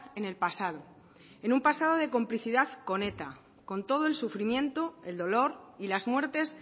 en el pasado en un pasado de complicidad con eta con todo el sufrimiento el dolor y las muertes